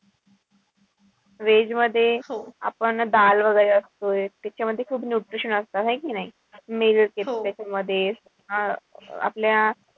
Veg मध्ये आपण वगैरे असतो त्याच्यामध्ये खूप nutrition असता है कि नाई? मध्ये आपल्या,